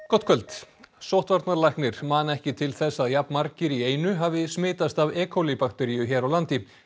gott kvöld sóttvarnalæknir man ekki til þess að jafn margir í einu hafi smitast af e bakteríu hér á landi